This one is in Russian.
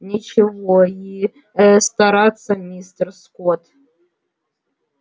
нечего и стараться мистер скотт